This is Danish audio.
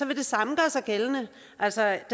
vil det samme gøre sig gældende altså